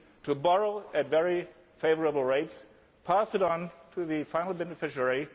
to borrow at very favourable rates and pass this on to the final beneficiary.